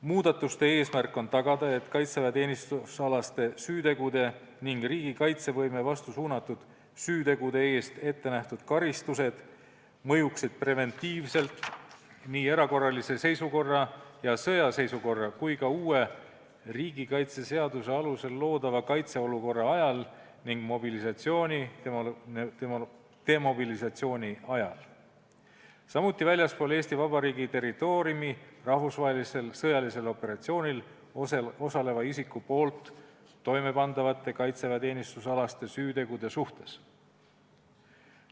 Muudatuste eesmärk on tagada, et kaitseväeteenistusalaste süütegude ning riigi kaitsevõime vastu suunatud süütegude eest ettenähtud karistused mõjuksid preventiivselt nii erakorralise seisukorra ja sõjaseisukorra kui ka uue riigikaitseseaduse alusel loodava kaitseolukorra ajal ning mobilisatsiooni ja demobilisatsiooni ajal, samuti väljaspool Eesti Vabariigi territooriumi rahvusvahelisel sõjalisel operatsioonil osaleva isiku toimepandavate kaitseväeteenistusalaste süütegude suhtes.